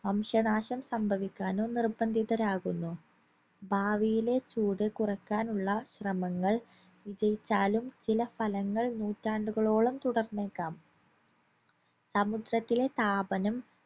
വംശനാശം സംഭവിക്കാനോ നിർബന്ധിതരാകുന്നു ഭാവിയിലെ ചൂട് കുറക്കാനുള്ള ശ്രമങ്ങൾ വിജയിച്ചാലും ചില ഫലങ്ങൾ നൂറ്റാണ്ടുകളോളം തുടർന്നേക്കാം സമുദ്രത്തിലെ താപനം